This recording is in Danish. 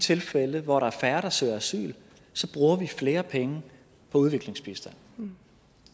tilfælde hvor der er færre der søger asyl bruger vi flere penge på udviklingsbistand